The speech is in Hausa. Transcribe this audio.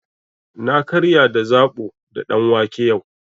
Na karya da zaɓo da ɗanwake yau.